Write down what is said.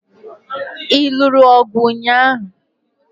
Ị lụrụ ọgụ ụnyaahụ?